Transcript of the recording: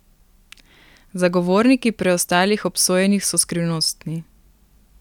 Zagovorniki preostalih obsojenih so skrivnostni.